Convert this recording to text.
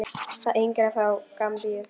Það yngra er frá Gambíu.